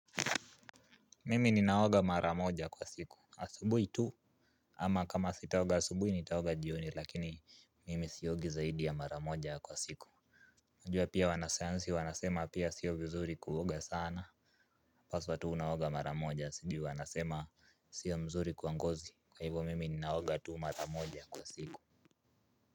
Mimi ninaoga mara moja kwa siku asubuhi tu ama kama sitaoga asubuhi nitaoga jioni lakini mimi siogi zaidi ya maramoja kwa siku najua pia wanasayansi wanasema pia sio mzuri kuoga sana paswa tu unaoga maramoja sijui wanasema sio mzuri kwa ngozi kwa hivo mimi ninaoga tu mara moja kwa siku.